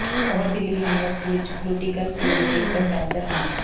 ਉਹ ਦਿੱਲੀ ਯੂਨੀਵਰਿਸਟੀ ਵਿੱਚ political theory ਦੇ ਪ੍ਰੋਫੈਸਰ ਸਨ